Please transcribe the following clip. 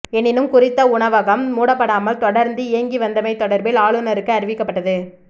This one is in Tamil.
எனினும் குறித்த உணவகம் மூடப்படாமல் தொடர்ந்து இயங்கிவந்தமை தொடர்பில் ஆளுநருக்கு அறிவிக்கப்பட்டது